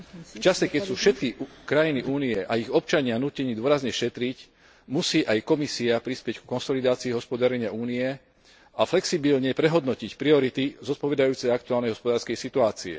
V čase, keď sú všetky krajiny Únie a ich občania nútení dôrazne šetriť, musí aj Komisia prispieť ku konsolidácii hospodárenia Únie a flexibilne prehodnotiť priority zodpovedajúce aktuálnej hospodárskej situácii.